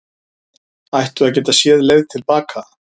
Ættu að geta séð leið til baka